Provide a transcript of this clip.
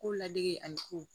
Ko ladege ani ko